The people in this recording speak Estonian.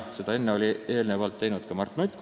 Seda arvamust oli eelnevalt avaldanud ka Mart Nutt.